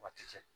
Waati cɛ